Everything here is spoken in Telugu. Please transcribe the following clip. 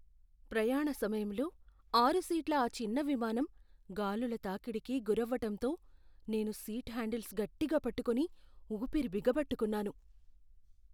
ప్రయాణ సమయంలో ఆరు సీట్ల ఆ చిన్న విమానం గాలుల తాకిడికి గురవ్వటంతో నేను సీట్ హ్యాండిల్స్ గట్టిగా పట్టుకుని ఊపిరి బిగపట్టుకున్నాను.